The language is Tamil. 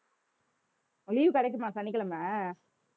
leave கிடைக்குமா சனிக்கிழமை